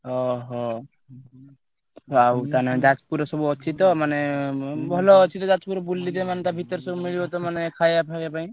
ଅହୋ! ଆଉ ତାହେଲେ ଯାଜପୁରରେ ସବୁ ଅଛି ତ ମାନେ ଭଲ ଅଛି ତ ଯାଜପୁରେ ମାନେ ବୁଲିତେ ମାନେ ତା ଭିତରେ ସବୁ ମିଳିବ ତ ମାନେ ଖାୟା ଫାୟା ପାଇଁ?